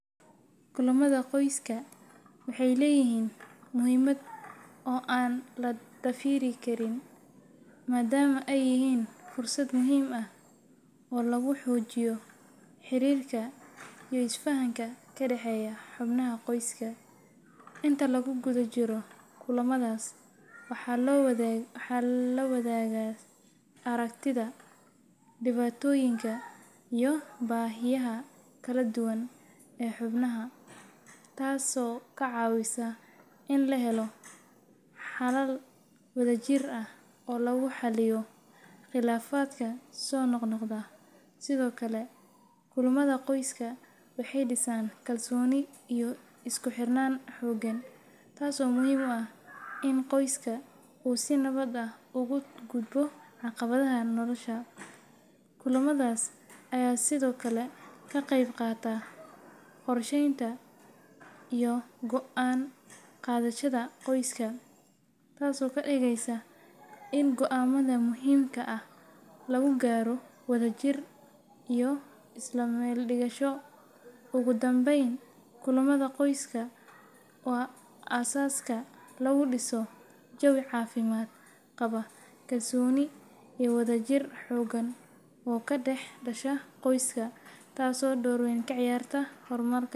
Kulamada qoyska waxay leeyihiin muhiimad weyn oo aan la dafiri karin, maadaama ay yihiin fursad muhiim ah oo lagu xoojiyo xiriirka iyo isfahanka ka dhexeeya xubnaha qoyska. Inta lagu guda jiro kulamadaas, waxaa la wadaagaa aragtida, dhibaatooyinka, iyo baahiyaha kala duwan ee xubnaha, taasoo ka caawisa in la helo xalal wadajir ah oo lagu xalliyo khilaafaadka soo noqnoqda. Sidoo kale, kulamada qoyska waxay dhisaan kalsooni iyo isku xirnaan xooggan, taasoo muhiim u ah in qoyska uu si nabad ah uga gudbo caqabadaha nolosha. Kulamadaas ayaa sidoo kale ka qayb qaata qorsheynta iyo go’aan qaadashada qoyska, taasoo ka dhigaysa in go’aamada muhiimka ah lagu gaaro wadajir iyo isla meel dhigasho. Ugu dambeyn, kulamada qoyska waa aasaaska lagu dhiso jawi caafimaad qaba, kalsooni, iyo wadajir xooggan oo ka dhex dhasha qoyska, taasoo door weyn ka ciyaarta horumarka.